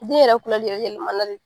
Den yɛrɛ lɛ yɛlɛmana de.